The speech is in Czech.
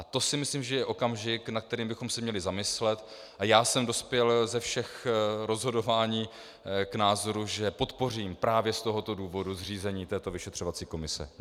A to si myslím, že je okamžik, nad kterým bychom se měli zamyslet, a já jsem dospěl ze všech rozhodování k názoru, že podpořím právě z tohoto důvodu zřízení toto vyšetřovací komise.